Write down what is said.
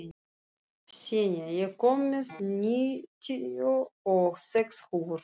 Senía, ég kom með níutíu og sex húfur!